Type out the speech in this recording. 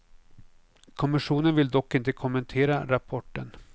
Kommissionen vill dock inte kommentera rapporten.